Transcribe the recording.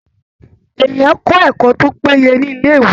Èèyàn ń kọ ẹkọ tó péye ni ilé ìwé.